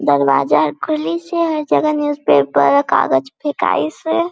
दरवाजा खुली से हर जगह न्यूज़पेपर और कागज फेकाइसे --